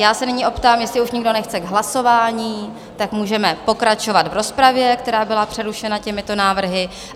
Já se nyní optám, jestli už nikdo nechce k hlasování, tak můžeme pokračovat v rozpravě, která byla přerušena těmito návrhy.